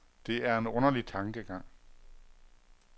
Det er en underlig tankegang.